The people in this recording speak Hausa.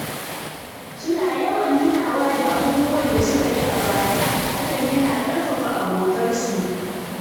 Suna yawan tunawa da abubuwan da suka yi a baya, hakan yana ƙarfafa abotarsu.